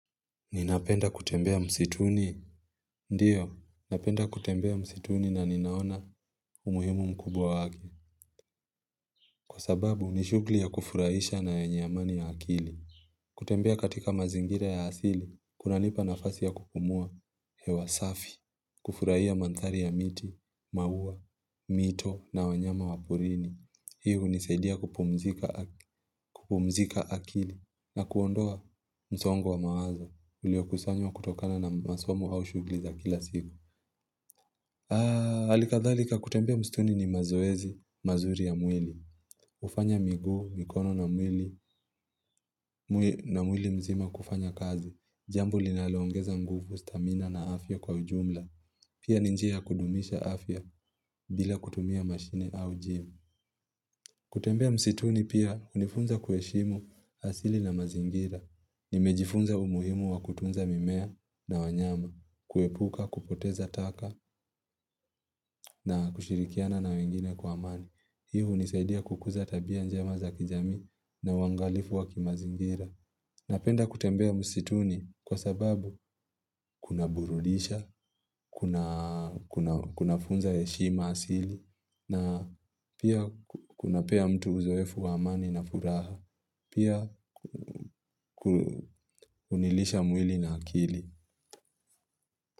Ninapenda kutembea msituni? Ndiyo, napenda kutembea msituni na ninaona umuhimu mkubwa wake. Kwa sababu, ni shughli ya kufurahisha na yenye amani ya akili. Kutembea katika mazingira ya hasili, kuna nipa nafasi ya kupumua hewa safi, kufurahia mandhari ya miti, mauwa, mito na wanyama wa porini. Hii hunisaidia kupumzika akili na kuondoa msongo wa mawazo. Uliokusanywa kutokana na masomo au shughli za kila siku. Alikadhalika kutembea mstuni ni mazoezi, mazuri ya mwili. Ufanya miguu, mikono na mwili mzima kufanya kazi. Jambu linalongeza nguvu, stamina na afya kwa ujumla. Pia ni njia ya kudumisha afya bila kutumia mashine au gym. Kutembea msituni pia unifunza kuheshimu asili na mazingira. Nimejifunza umuhimu wa kutunza mimea na wanyama, kuepuka, kupoteza taka na kushirikiana na wengine kwa amani. Hii hunisaidia kukuza tabia njema za kijamii na wangalifu wa kimazingira. Napenda kutembea msituni kwa sababu kuna burudisha, kuna funza heshima asili na pia kunapea mtu uzoefu wa amani na furaha, pia hunilisha mwili na akili.